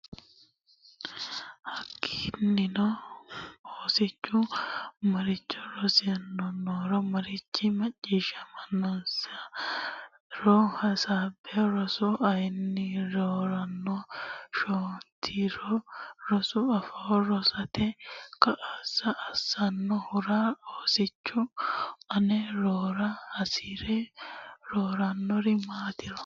Hakkiinnino oosichu maricho rosinoronna marichi macciishshaminosi e ro hasaabbe Rosu ayirrinoronna shotinoro Rosu afoo rosate kaa lo assannohoro Oosichu aane rosara hasi rannori maatiro.